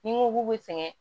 Ni n ko k'u bɛ sɛgɛn